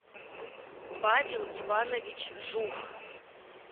павел иванович жук